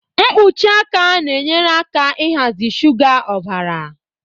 Mkpuchi aka na-enyere aka ịhazi shuga ọbara